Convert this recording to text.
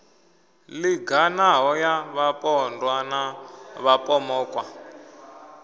linganaho ya vhapondwa na vhapomokwa